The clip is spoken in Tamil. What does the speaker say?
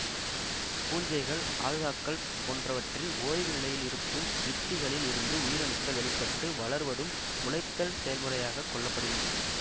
பூஞ்சைகள் அல்காக்கள் போன்றவற்றில் ஓய்வு நிலையில் இருக்கும் வித்திகளில் இருந்து உயிரணுக்கள் வெளி பட்டு வளர்வதும் முளைத்தல் செயல்முறையாகக் கொள்ளப்படுகின்றது